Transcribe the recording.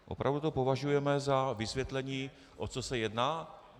Opravdu to považujeme za vysvětlení, o co se jedná?